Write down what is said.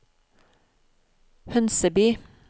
Hønseby